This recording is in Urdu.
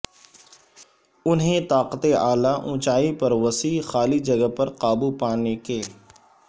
انہیں طاقت اعلی اونچائی پر وسیع خالی جگہ پر قابو پانے کے